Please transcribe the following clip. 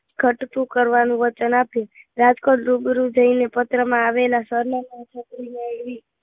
ઘટતું કરવાનું વચન આપ્યું રાજકોટ રૂબરૂ જઈને પત્રમાં આવેલા સરનામા છત્રી મેળવી